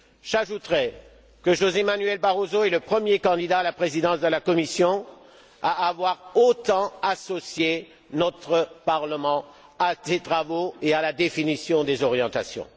J'ajouterai que José Manuel Barroso est le premier candidat à la présidence de la Commission à avoir autant associé notre Parlement à ses travaux et à la définition des orientations.